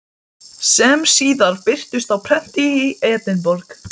Hún er skemmtilega brosmild og kankvís til augnanna.